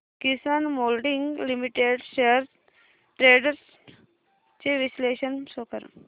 किसान moulding limited shares trends चे विश्लेषण show कर